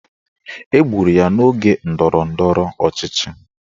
Egburu ya n'oge ndọrọndọrọ ọchịchị